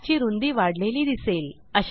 track ची रूंदी वाढलेली दिसेल